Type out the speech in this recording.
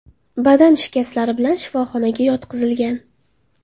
badan shikastlari bilan shifoxonaga yotqizilgan.